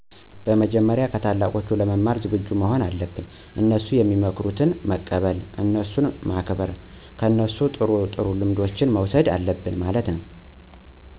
መጀመሪያ ከታላቆች ለመማር ዝግጁ መሆን አለብን፤ እነሡ ሚመክሩትን መቀበል፣ እነሡን ማክበር፣ ከነሡ ጥሩ ጥሩ ልምዶችን መውሠድ አለብን ማለት ነው።